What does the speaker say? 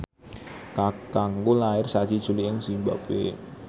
kakangku lair sasi Juli ing zimbabwe